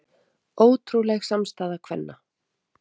Ótrúleg samstaða kvenna